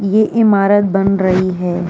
ये इमारत बन रही है।